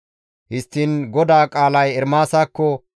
Histtiin GODAA qaalay Ermaasakko,